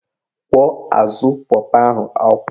Kwọọ azụ pọpọ ahụ akwọ